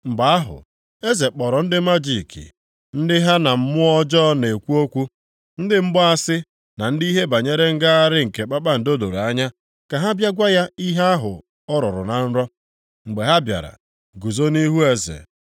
Mgbe ahụ, eze kpọrọ ndị majiki, ndị ha na mmụọ ọjọọ na-ekwu okwu, ndị mgbaasị na ndị ihe banyere ngagharị nke kpakpando doro anya ka ha bịa gwa ya ihe ahụ ọ rọrọ na nrọ. Mgbe ha bịara, guzo nʼihu eze,